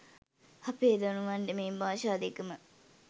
අපේ දරුවන්ට මේ භාෂා දෙක ම